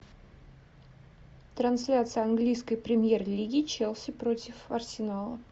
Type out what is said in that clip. трансляция английской премьер лиги челси против арсенала